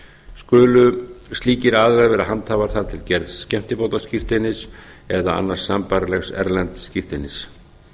skulu slíkir aðilar vera handhafar þar til gerðs skemmtibátaskírteinis eða annars sambærilegs erlends skírteinis